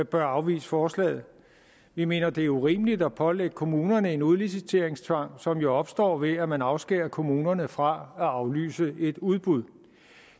bør afvise forslaget vi mener det er urimeligt at pålægge kommunerne en udliciteringstvang som jo opstår ved at man afskærer kommunerne fra at aflyse et udbud